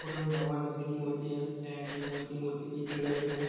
Photo में भगवान बुद्ध की मूर्ति है एण्ड उनकी मूर्ति पीले कलर की हैं।